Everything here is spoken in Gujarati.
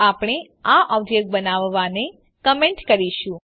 તો આપણે આ ઓબ્જેક્ટ બનાવવાને કમેન્ટ કરીશું